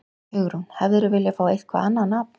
Hugrún: Hefðirðu viljað fá eitthvað annað nafn?